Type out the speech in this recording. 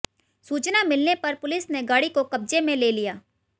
सूचना मिलने पर पुलिस ने गाड़ी को कब्जे में ले लिया